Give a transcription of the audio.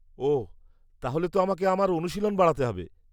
-ওহ তাহলে তো আমাকে আমার অনুশীলন বাড়াতে হবে।